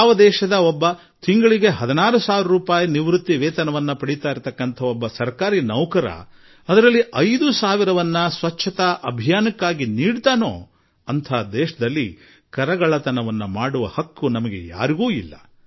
ಯಾವ ದೇಶದಲ್ಲಿ ಒಬ್ಬ ನಿವೃತ್ತ ಸರ್ಕಾರಿ ನೌಕರ ಆತನಿಗೆ ಕೇವಲ 16 ಸಾವಿರ ರೂಪಾಯಿ ಪಿಂಚಣಿ ಬರುತ್ತದೆ ಅದರಲ್ಲಿ 5 ಸಾವಿರ ರೂಪಾಯಿ ಸ್ವಚ್ಛತಾ ಅಭಿಯಾನಕ್ಕೆ ಕೊಡಬಲ್ಲನೋ ಆ ದೇಶದಲ್ಲಿ ತೆರಿಗೆ ಕಳ್ಳತನ ಮಾಡುವ ಹಕ್ಕು ನಮಗಿಲ್ಲ